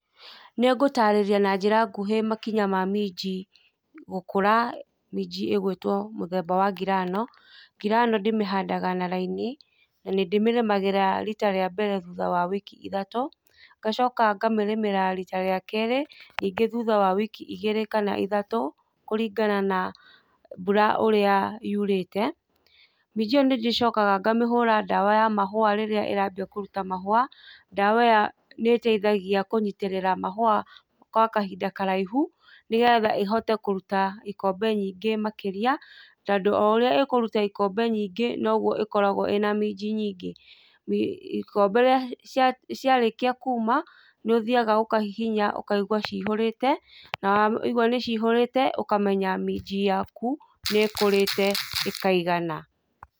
Nĩngũtarĩria na njĩra nguhĩ makinya ma minji, gũkũra, minji ĩgwĩtwo mũthemba wa ngirano, ngirano ndĩmĩhandaga na laini, na nĩndĩmĩrĩmagĩra rita rĩa mbere thutha wa wiki ithatũ, ngacoka ngamĩrĩmĩra rita rĩa kerĩ ningĩ thutha wa wiki igĩrĩ kana ithatũ kũlingana na mbura ũrĩa yurĩte, minji ĩyo nĩnjokaga ngamĩhũra dawa ya mahũa rĩrĩa ĩrambia kũruta mahũa, dawa ĩyo nĩtethagia kũnyitĩrĩra mahũa gwa kahinda karaihu nĩgetha ĩhote kũruta ikombe nyingĩ makĩria tondũ oũrĩa ĩkũruta ĩkombe nyingĩ noguo ĩkoragwo ĩna minji nyingĩ, ikombe ciarĩkia kuuma niũthiaga ũkahihinya ũkaigua cĩhũrĩte ũkamenya minji yaku nĩkũrĩte ĩkaigana.